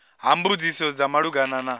ha mbudziso dza malugana na